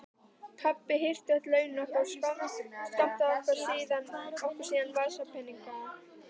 Pabbi hirti öll launin okkar og skammtaði okkur síðan vasapeninga.